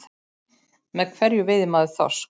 Með hverju veiðir maður þorsk?